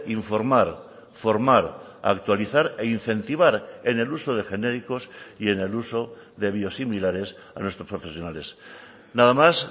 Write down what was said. informar formar actualizar e incentivar en el uso de genéricos y en el uso de biosimilares a nuestros profesionales nada más